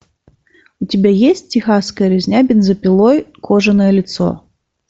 у тебя есть техасская резня бензопилой кожаное лицо